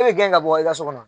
E y'o gɛn ka bɔ i ka so kɔnɔ.